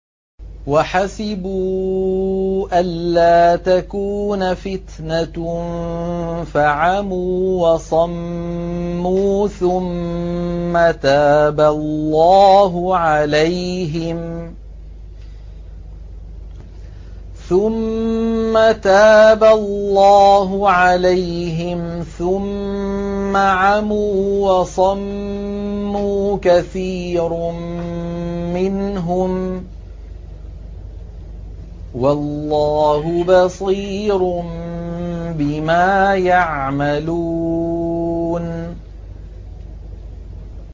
وَحَسِبُوا أَلَّا تَكُونَ فِتْنَةٌ فَعَمُوا وَصَمُّوا ثُمَّ تَابَ اللَّهُ عَلَيْهِمْ ثُمَّ عَمُوا وَصَمُّوا كَثِيرٌ مِّنْهُمْ ۚ وَاللَّهُ بَصِيرٌ بِمَا يَعْمَلُونَ